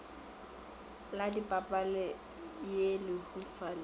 la papadi ye lehufa le